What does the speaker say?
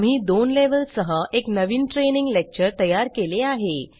आम्ही दोन लेवेल सह एक नवीन ट्रेनिंग लेक्चर तयार केले आहे